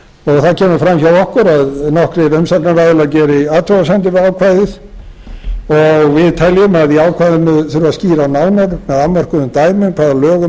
það kemur fram hjá okkur að nokkrir umsagnaraðilar geri athugasemdir við ákvæðið og við teljum að í ákvæðinu þurfi að skýran nánar með afmörkuðum dæmum hvaða lögum eða hvers